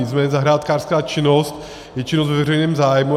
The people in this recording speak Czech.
Nicméně zahrádkářská činnost je činnost ve veřejném zájmu.